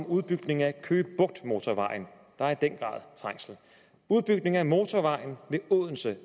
udbygning af køge bugt motorvejen hvor der i den af motorvejen ved odense